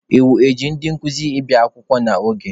Iwu ji ndị nkuzi ị na-abịa akwụkwọ n'oge.